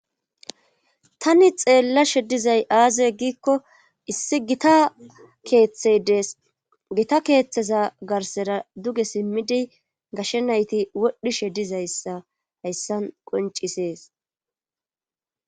tani xeellashe dizay aaze giikko issi gita keeththey dees gita keeththeza garsera duge simmidi gashshe nayti wodhishe dizayssa hayssan qoncisees